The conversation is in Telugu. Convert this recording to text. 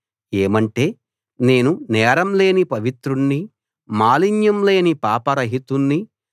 ఏమంటే నేను నేరం లేని పవిత్రుణ్ణి మాలిన్యం లేని పాపరహితుణ్ణి